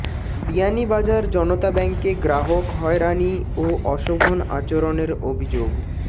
বিয়ানীবাজার জনতা ব্যাংকে গ্রাহক হয়রানি ও অশোভন আচরনের অভিযোগ